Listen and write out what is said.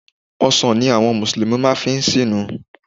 Ọsàn ni àwọn mùsùlùmí máa fi máa ṣínu.